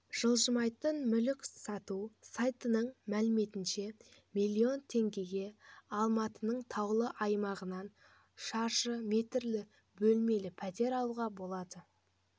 жылжымайтын мүлік сату сайтының мәліметінше миллион теңгеге алматының таулы аймағынан шаршы метрлі бөлмелі пәтер алуға болады